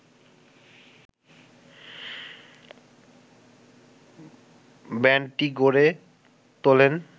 ব্যান্ডটি গড়ে তোলেন